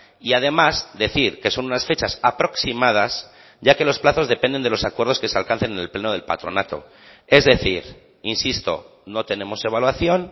y además decir que son unas fechas aproximadas ya que los plazos dependen de los acuerdos que se alcancen en el pleno del patronato es decir insisto no tenemos evaluación